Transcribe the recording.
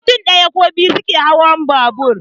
Mutum ɗaya ko biyu suke iya hawan babur